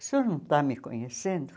O senhor não está me conhecendo?